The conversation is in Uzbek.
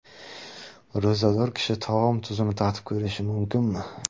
Ro‘zador kishi taom tuzini tatib ko‘rishi mumkinmi?.